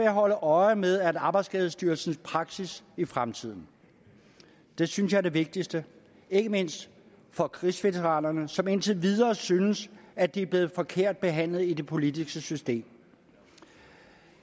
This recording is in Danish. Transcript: holde øje med arbejdsskadestyrelsens praksis i fremtiden det synes jeg er det vigtigste ikke mindst for krigsveteranerne som indtil videre synes at de er blevet forkert behandlet i det politiske system